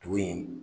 Tumun in